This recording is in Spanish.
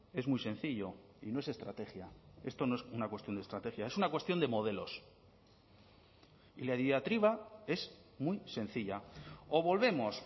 es muy sencillo y no es estrategia esto no es una cuestión de estrategia es una cuestión de modelos y la diatriba es muy sencilla o volvemos